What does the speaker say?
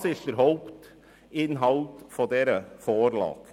Dies bildet den Hauptinhalt dieser Vorlage.